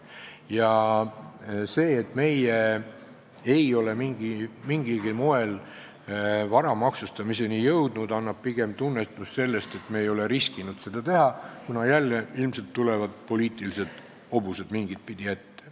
Ja see, et meie ei ole mingilgi moel vara maksustamiseni jõudnud, annab tunnistust pigem sellest, et me ei ole riskinud seda teha, kuna jälle tulevad ilmselt mingit pidi ette poliitilised hobused.